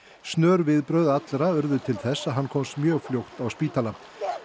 snör viðbrögð allra urðu til þess að hann komst mjög fljótt á spítala